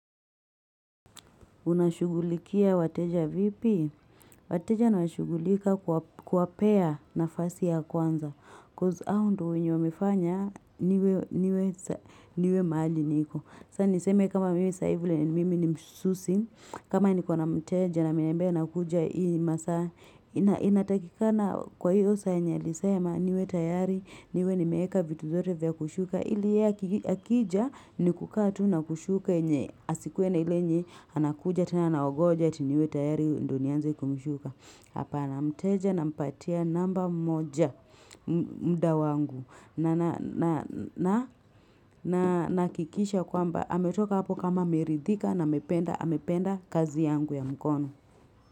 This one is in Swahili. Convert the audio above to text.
Unashughulikia wateja vipi? Wateja na washughulika kwa kuwapea nafasi ya kwanza. Coz hao ndio wenye wamefanya niwe niwe mahali niko. Sa niseme kama mimi sai vile mimi ni msusi. Kama niko na mteja na ameniambia nakuja hii masaa. Inatakikana kwa hiyo saa yenye alisema niwe tayari. Niwe nimeeka vitu zote vya kushuka ili yeye aki akija ni kukaa tu na kushuka yenye asikue na ile yenye anakuja tena anaogonja ati niwe tayari ndo nianze kumshuka hapana mteja nampatia namba moja mda wangu na na na nahakikisha kwamba ametoka hapo kama ameridhika na ame amependa kazi yangu ya mkono.